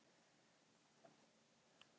Eignarhald auðlinda mikilvægasta málið